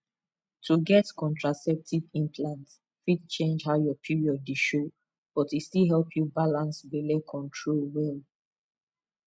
to get contraceptive implant fit change how your period dey show but e still help you balance belle control well